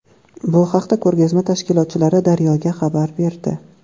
Bu haqda ko‘rgazma tashkilotchilari Daryo‘ga xabar berdi.